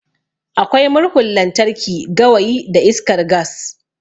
Akwai Murhun lantarki, gawayi da iskar gas.